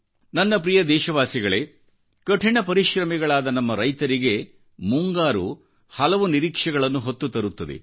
ನನ್ನ ಪ್ರಿಯ ದೇಶವಾಸಿಗಳೇಕಠಿಣ ಪರಿಶ್ರಮಿಗಳಾದ ನಮ್ಮ ರೈತರಿಗೆ ಮುಂಗಾರು ಹಲವು ನಿರೀಕ್ಷೆಗಳನ್ನು ಹೊತ್ತು ತರುತ್ತದೆ